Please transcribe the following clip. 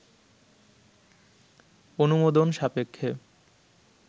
অনুমোদন সাপেক্ষে